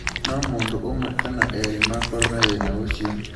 No mũndũ ũmwe kana erĩ makorũo na thĩna ũcio.